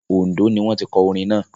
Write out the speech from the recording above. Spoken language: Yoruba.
Oǹdó ni wọ́n tí kọ orin náà.